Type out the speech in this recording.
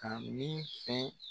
Ka min fɛn